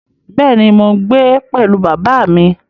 Bẹ́ẹ̀ ni, mò ń gbé pẹ̀lú bàbá mi